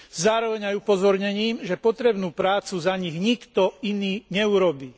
Zároveň aj upozornením, že potrebnú prácu za nich nikto iný neurobí.